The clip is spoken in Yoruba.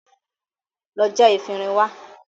Lọ já efinrin wá!